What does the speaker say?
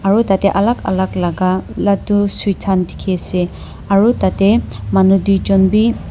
aru tatae alak alak laka ladu sweets khan dikhiase aru tatae manu tuijon bi--